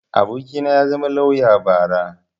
abokina ya zama lauya bara